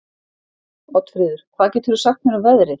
Oddfríður, hvað geturðu sagt mér um veðrið?